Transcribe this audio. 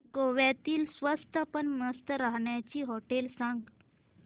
गोव्यातली स्वस्त पण मस्त राहण्याची होटेलं सांग